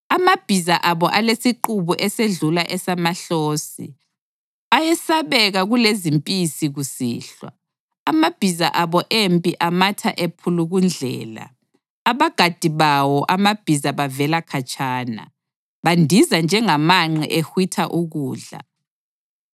Amabhiza abo alesiqubu esedlula esamahlosi, ayesabeka kulezimpisi kusihlwa. Amabhiza abo empi amatha ephulukundlela, abagadi bawo amabhiza bavela khatshana. Bandiza njengamanqe ehwitha ukudla,